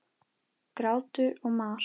Grátur og mar.